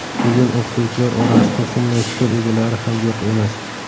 Bugun o‘qituvchilar orasida shunday fikr egalari ham yo‘q emas.